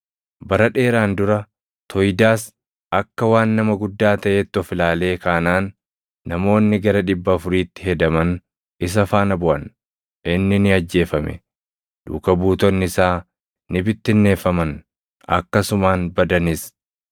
Bara dheeraan dura Toyidaas akka waan nama guddaa taʼeetti of ilaalee kaanaan namoonni gara dhibba afuriitti hedaman isa faana buʼan; inni ni ajjeefame; duuka buutonni isaa ni bittinneeffaman; akkasumaan badanis.